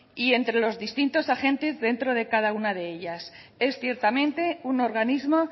y entre los distintos agentes dentro de cada una de ellas es ciertamente un organismo